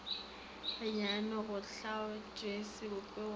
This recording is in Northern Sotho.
gannyane go hlaotšwe sebopego le